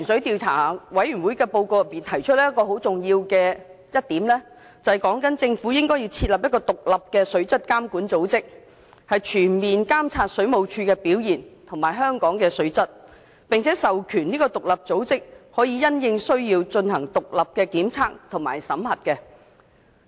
《調查委員會報告》提出很重要的另一點，就是建議政府設立獨立的水質監管組織，全面監察水務署的表現及香港的水質，並授權該組織按需要進行獨立檢測及審核。